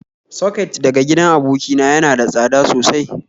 Soket daga gidan abokina yana da tsada sosai